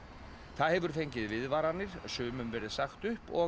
það hefur fengið viðvaranir sumum verið sagt upp og